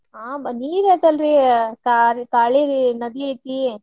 ಹಾ ನೀರ್ ಇದೈತಲ್ರಿ ಕಾ~ ಕಾಳಿ ನದಿ ಐತಿ.